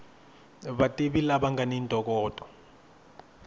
vativi lava nga ni ntokoto